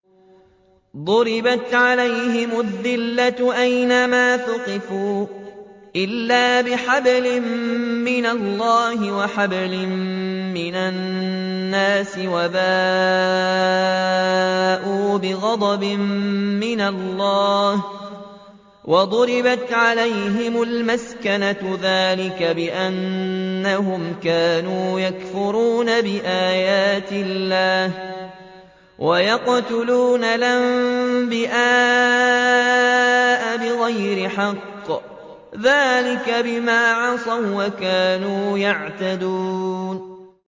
ضُرِبَتْ عَلَيْهِمُ الذِّلَّةُ أَيْنَ مَا ثُقِفُوا إِلَّا بِحَبْلٍ مِّنَ اللَّهِ وَحَبْلٍ مِّنَ النَّاسِ وَبَاءُوا بِغَضَبٍ مِّنَ اللَّهِ وَضُرِبَتْ عَلَيْهِمُ الْمَسْكَنَةُ ۚ ذَٰلِكَ بِأَنَّهُمْ كَانُوا يَكْفُرُونَ بِآيَاتِ اللَّهِ وَيَقْتُلُونَ الْأَنبِيَاءَ بِغَيْرِ حَقٍّ ۚ ذَٰلِكَ بِمَا عَصَوا وَّكَانُوا يَعْتَدُونَ